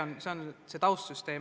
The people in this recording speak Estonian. Nii palju taustaks.